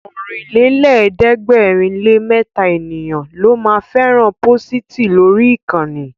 Ọ̀rìnlélẹ̀ẹ́dẹ́gbèrinlémẹta ènìyàn ló ma fẹ́ràn pósìtì lórí ìkànnì